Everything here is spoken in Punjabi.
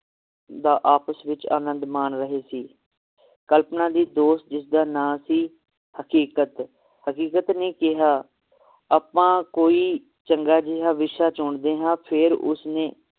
ਦਾ ਆਪਸ ਵਿਚ ਆਨੰਦ ਮਾਨ ਰਹੇ ਸੀ ਕਲਪਨਾ ਦੀ ਦੋਸਤ ਜਿਸਦਾ ਨਾਂ ਸੀ ਹਕੀਕਤ ਹਕੀਕਤ ਨੇ ਕਿਹਾ ਆਪਾਂ ਕੋਈ ਚੰਗਾ ਜੇਹਾ ਵਿਸ਼ਾ ਚੁਣਦੇ ਹਾਂ ਫੇਰ ਉਸਨੇ